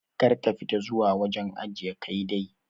Kar ka fita zuwa wajen ajiye Kai dai.